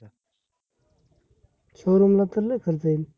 showroom ला तर लय खर्च येईल?